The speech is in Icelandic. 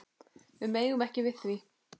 Við megum ekki við því.